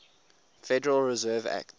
federal reserve act